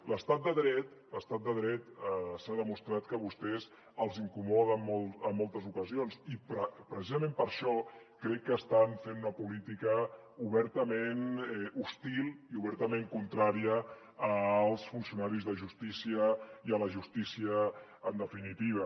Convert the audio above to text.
l’estat de dret s’ha demostrat que a vostès els incomoda en moltes ocasions i precisament per això crec que estan fent una política obertament hostil i obertament contrària als funcionaris de justícia i a la justícia en definitiva